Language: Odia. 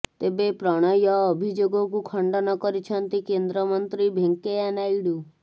ତେବେ ପ୍ରଣୟ ଅଭିଯୋଗକୁ ଖଣ୍ଡନ କରିଛନ୍ତି କେନ୍ଦ୍ରମନ୍ତ୍ରୀ ଭେଙ୍କେୟା ନାଇଡୁ